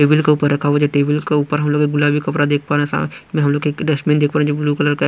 Table के ऊपर रखा हुआ जो टेबल के ऊपर हम लोग गुलाबी कपड़ा देख पा रहे हैं सा में हम लोगडस्टबिनदेख पा रहे हैंजोब्लूकलरकाहैं।